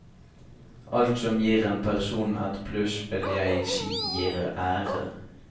Alt som gir en person et pluss vil jeg si gir ære.